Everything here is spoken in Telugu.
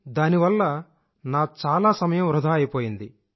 దానివల్ల నా సమయం చాలా వృధా అయిపోయింది